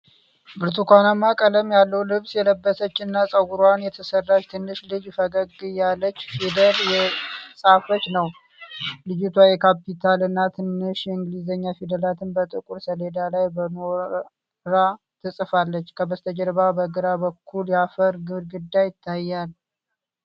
ብርቱካናማ ቀለም ያለው ልብስ የለበሰች እና ፀጉሯን የተሰራች ትንሽ ልጅ ፈገግ እያለች ፊደል እየጻፈች ነው። ልጅቷ የካፒታል እና ትንሽ የእንግሊዝኛ ፊደላትን በጥቁር ሰሌዳ ላይ በኖራ ትጽፋለች። ከበስተጀርባ በግራ በኩል የአፈር ግድግዳ ይታያል።